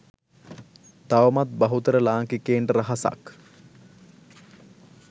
තවමත් බහුතර ලාංකිකයන්ට රහසක්.